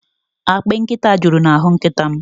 Akpị nkịta juru n'ahụ nkịta m.